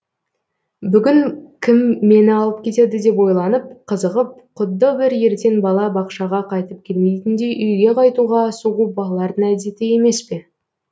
бүгін кім мені алып кетеді деп ойланып қызығып құдды бір ертен бала бақшаға қайтып келмейтіндей үйге қайтуға асығу балалардың әдеті емес пе